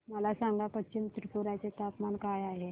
मला सांगा पश्चिम त्रिपुरा चे तापमान काय आहे